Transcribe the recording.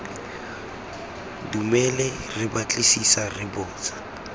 dumele re batlisisa re botsa